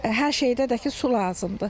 Hər şeydə də ki, su lazımdır.